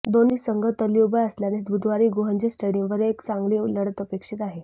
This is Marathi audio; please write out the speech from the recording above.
दोन्ही संघ तुल्यबळ असल्याने बुधवारी गहुंजे स्टेडियमवर एक चांगली लढत अपेक्षित आहे